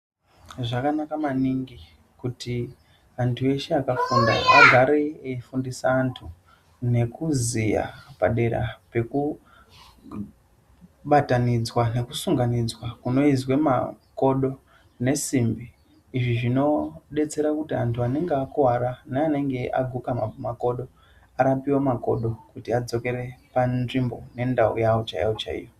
Zvakanaka maningi kuti antu eshe akafunda ,agare eyi fundisa antu nekuziya padera pekubatanidzwa nekusunganidzwa kunoyizwa makodo nesimbi, izvi zvinodetsera kuti antu anenge akuwara neanenge aguka makodo ,arapiwe makodo kuti adzokere panzvimbo nendau yawo chaiyo-chaiyo.